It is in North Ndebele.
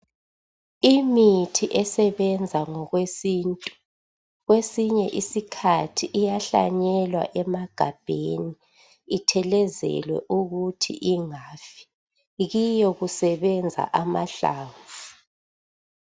Imithi esebenza ngokwesintu kwesinye isikhathi iyahlanyelwa emagabheni. Ithelezelwe ukuthi ingafi. Kiyo kusebenza amhlamvu.